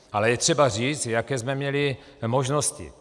Ale je třeba říct, jaké jsme měli možnosti.